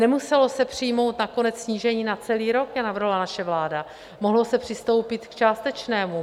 Nemuselo se přijmout nakonec snížení na celý rok, jak navrhovala naše vláda, mohlo se přistoupit k částečnému.